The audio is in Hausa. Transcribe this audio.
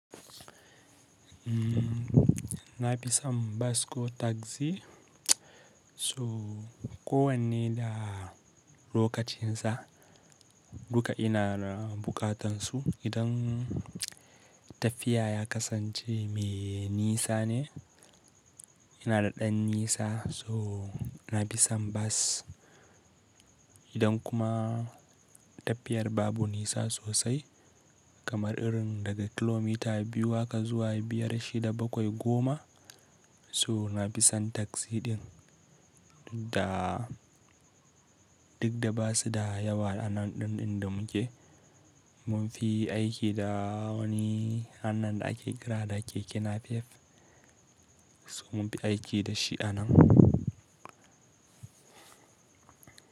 Nafi son bas ko taksi. So kowanne da lokacin sa. Duka ina da buƙatansu. Idan tafiya ya kasance mai nisa ne, ina da ɗan nisa so nafi son bas. Idan kuma tafiyar babu nisa sosai kamar irin daga kilomita biyu haka zuwa biyar shida bakwai goma so nafi son taksi ɗin. Da duk da basu da yawa a nan ɗin da muke, mun fi aiki da wani wannan da ake kira da keke napep. So mun fi aiki da shi a nan.